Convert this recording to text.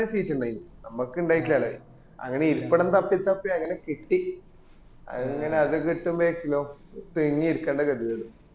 seat ഇണ്ടനും നമ്മക്ക് ഇണ്ടായറ്റില്ലാല അങ്ങനെ ഇരിപ്പിടം തപ്പി തപ്പി അങ്ങനെ കിട്ടി അങ്ങന അത് കിട്ടുമ്പയേക്ക് ലോക് തിങ്ങി ഇരിക്കേണ്ട ഗതികേട്